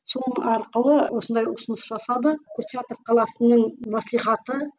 арқылы осындай ұсыныс жасады курчатов қаласының маслихаты